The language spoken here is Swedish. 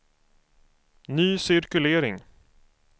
ny cirkulering